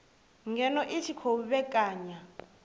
ngeno i tshi khou vhekanya